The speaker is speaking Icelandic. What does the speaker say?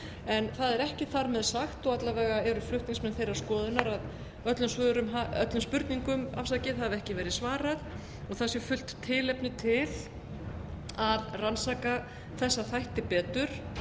en það er ekki þar með sagt og alla vega eru flutningsmenn þeirrar skoðunar að öllum spurningum hafi ekki verið svarað og það sé fullt tilefni til að rannsaka þessa þætti betur